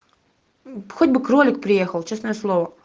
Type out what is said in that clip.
хоть бы кролик приехал честное слово